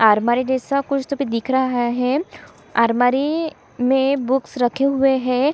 अलमारी जैसा कुछ तो भी दिख रहा है अलमारी में बुक्स रखे हुए हैं।